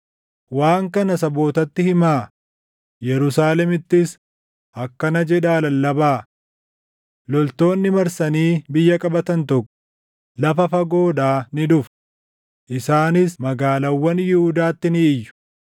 “Waan kana sabootatti himaa; Yerusaalemittis akkana jedhaa lallabaa: ‘Loltoonni marsanii biyya qabatan tokko // lafa fagoodhaa ni dhufu; isaanis magaalaawwan Yihuudaatti ni iyyu.